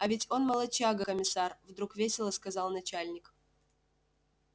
а ведь он молодчага комиссар вдруг весело сказал начальник